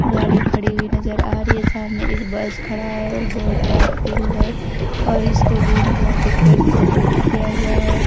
गाड़ी खड़ी हुई नजर आ रही है सामने एक बस खड़ा है और बहोत बड़ा फील्ड है और इसको ग्रीन कलर के पेंट से पेंट किया गया है।